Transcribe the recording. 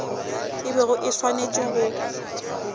e bego e swanetše go